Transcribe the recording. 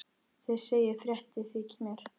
Þið segið fréttir þykir mér!